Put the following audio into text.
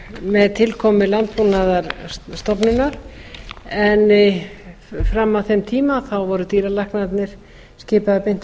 með tilkomu landbúnaðarstofnunar en fram að þeim tíma voru dýralæknarnir skipaðir beint af